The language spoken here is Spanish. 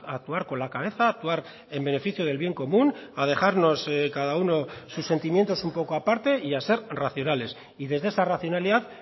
a actuar con la cabeza a actuar en beneficio del bien común a dejarnos cada uno sus sentimientos un poco aparte y a ser racionales y desde esa racionalidad